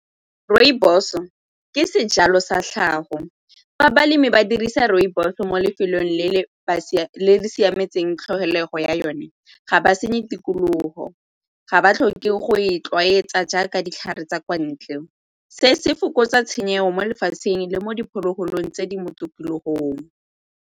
Rooibos ke sejalo sa tlhago. Fa balemi ba dirisa rooibos mo lefelong le le siametseng tlhokego ya yone ga ba senye tikologo, ga ba tlhoke go e itlwaetsa jaaka ditlhare tsa kwa ntle. Se se fokotsa tshenyetso mo lefatsheng le mo diphologolong tse di mo .